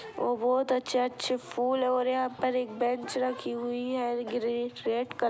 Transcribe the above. और बहुत अच्छे अच्छे फूल और यहाँ पे एक बेंच रखी हुई है ग्रीन रेड कलर के।